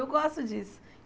Eu gosto disso.